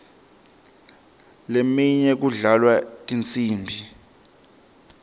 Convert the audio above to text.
leminye kudlalwa tinsimbi